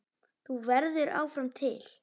Þú verður áfram til.